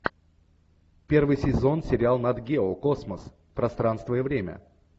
первый сезон сериал нат гео космос пространство и время